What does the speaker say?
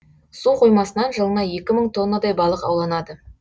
су қоймасынан жылына екі мың тоннадай балық ауланады